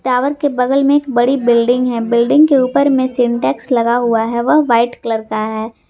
Tower के बगल में एक बड़ी बिल्डिंग है बिल्डिंग के ऊपर में सिंटेक्स लगा हुआ है वह वाइट कलर का है।